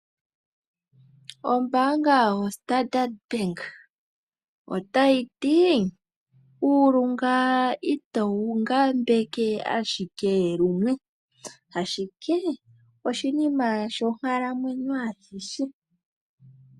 Ombanga yoStandardbank otayi ti uulunga itowu ngambeke ashike limwe, ashike oshinima shonkalamwenyo ayihe.